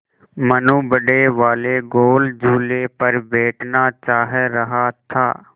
मनु बड़े वाले गोल झूले पर बैठना चाह रहा था